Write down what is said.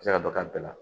Se ka dɔ k'a bɛɛ la